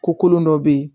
Ko kolon dɔ be yen